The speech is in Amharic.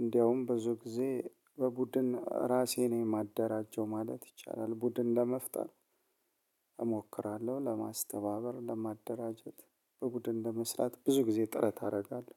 እንደውም ብዙ ጊዜ በቡድን እራሴ ነኝ የማደራጀው ማለት ይቻላል ቡድን ለመፍጠር እሞክራለሁ ለማስተባበር፣ ለማደራጀት፣ በቡድን ለመስራት ብዙ ጊዜ ጥረት አደርጋለሁ።